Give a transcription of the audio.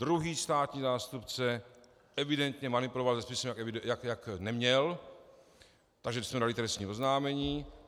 Druhý státní zástupce evidentně manipuloval se spisem, jak neměl, takže jsme podali trestní oznámení.